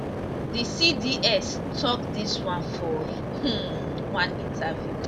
di cds tok dis one for um one interview